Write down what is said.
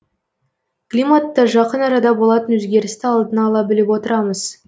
климатта жақын арада болатын өзгерісті алдын ала біліп отырамыз